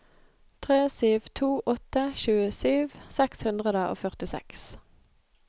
tre sju to åtte tjuesju seks hundre og førtiseks